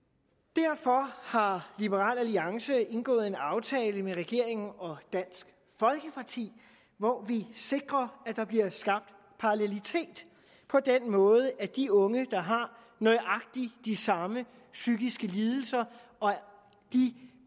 derfor har liberal alliance indgået en aftale med regeringen og dansk folkeparti hvor vi sikrer at der bliver skabt parallelitet på den måde at de unge der har nøjagtig de samme psykiske lidelser